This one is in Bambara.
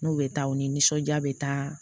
N'u bɛ taa u nisɔndiya bɛ taa